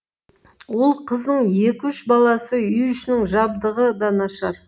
ол қызының екі үш баласы үй ішінің жабдығы да нашар